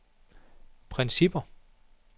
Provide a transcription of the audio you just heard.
principper